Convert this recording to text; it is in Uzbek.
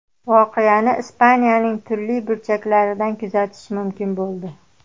Voqeani Ispaniyaning turli burchaklaridan kuzatish mumkin bo‘ldi.